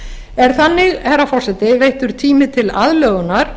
er þannig herra forseti veittur tími til aðlögunar